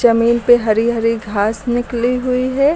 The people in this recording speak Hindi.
जमीन पे हरी हरी घास निकली हुई है।